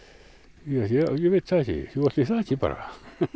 ég veit það ekki jú ætli það ekki bara